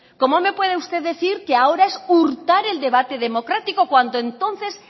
cómo me puede usted decir que ahora es hurtar el debate democrático cuando entonces